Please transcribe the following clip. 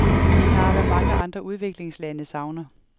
De har, hvad mange andre udviklingslande savner.